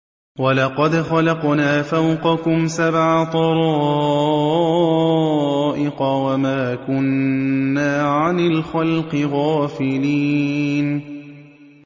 وَلَقَدْ خَلَقْنَا فَوْقَكُمْ سَبْعَ طَرَائِقَ وَمَا كُنَّا عَنِ الْخَلْقِ غَافِلِينَ